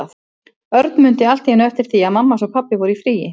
Örn mundi allt í einu eftir því að mamma hans og pabbi voru í fríi.